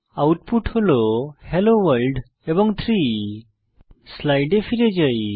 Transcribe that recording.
output হল hello world এবং 3 স্লাইডে ফিরে আসি